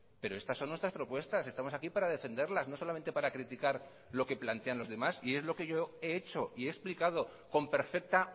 pero estas son nuestras propuestas estamos aquí para defenderlas no solamente para criticar lo que plantean los demás y es lo que yo he hecho y he explicado con perfecta